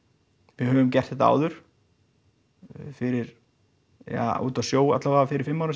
við höfum gert þetta áður fyrir eða úti á sjó alla vega fyrir fimm árum